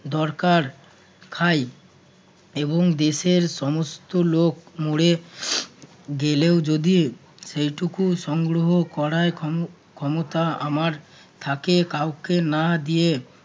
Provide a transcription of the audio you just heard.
দরকার খাই এবং দেশের সমস্ত লোক মরে গেলেও যদি যেইটুকু সংগ্রহ করায় ক্ষমতা আমার থাকে কাউকে না দিয়ে